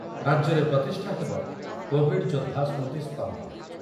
ରାଜ୍ୟରେ ପ୍ରତିଷ୍ଠା ହେବ କୋଭିଡ୍ ଯୋଦ୍ଧା ସ୍ମୃତିସ୍ତମ୍ଭ ।